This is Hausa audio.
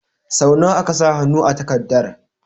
Sau nawa aka sa hannu a takardar?